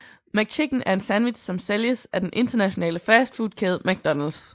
McChicken er en sandwich som sælges af den internationale fastfood kæde McDonalds